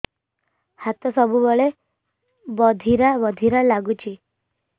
ହାତ ସବୁବେଳେ ବଧିରା ବଧିରା ଲାଗୁଚି